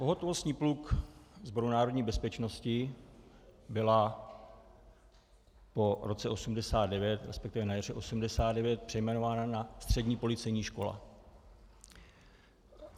Pohotovostní pluk Sboru národní bezpečnosti byla po roce 1989, respektive na jaře 1989, přejmenována na střední policejní škola.